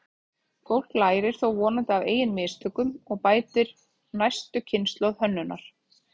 Fólk lærir þó vonandi af eigin mistökum og bætir næstu kynslóð hönnunar.